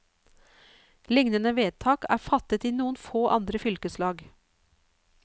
Lignende vedtak er fattet i noen få andre fylkeslag.